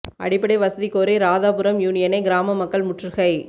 அடிப்படை வசதி கோரி ராதாபுரம் யூனியனை கிராம மக்கள் முற்றுகை